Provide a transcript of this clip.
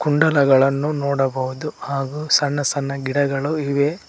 ಕುಂಡಲಗಳನ್ನು ನೋಡಬಹುದು ಹಾಗೂ ಸಣ್ಣ ಸಣ್ಣ ಗಿಡಗಳು ಇವೆ.